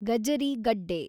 ಗಜರಿ ಗಡ್ಡೆ